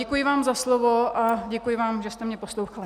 Děkuji vám za slovo a děkuji vám, že jste mě poslouchali.